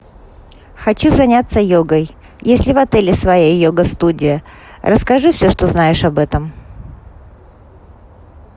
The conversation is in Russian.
хочу заняться йогой есть ли в отеле своя йога студия расскажи все что знаешь об этом